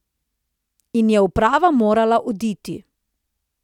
In je uprava morala oditi.